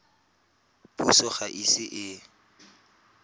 puso ga e ise e